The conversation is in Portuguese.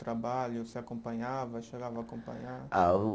Trabalho, você acompanhava, chegava a acompanhar? Ah o